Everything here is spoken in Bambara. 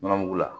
Nɔnɔmugu la